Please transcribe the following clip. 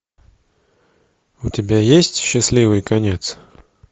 у тебя есть счастливый конец